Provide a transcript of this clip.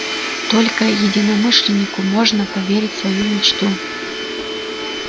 только единомышленнику можно поверить свою мечту